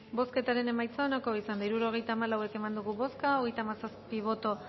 bozketaren emaitza onako izan da hirurogeita hamalau eman dugu bozka hogeita hamazazpi boto